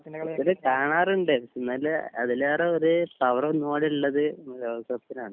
പിന്നെ കാണാറുണ്ട് എന്നാൽ അതിലേറെ ഒരു പവർ ഒന്നും കൂടി ഉള്ളത് ഏഹ് ലോക കപ്പിനാണ്